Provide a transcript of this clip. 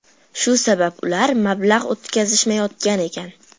Shu sabab ular mablag‘ o‘tkazishmayotgan ekan.